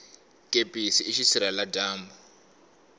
kepisi i xisirhela dyambu